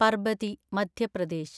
Parbati (Madhya Pradesh)